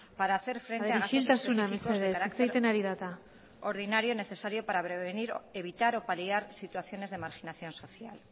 para hacer frente isiltasuna mesedez hitz egiten ari da eta a gastos específicos de carácter ordinario necesario para prevenir evitar o paliar situaciones de marginación social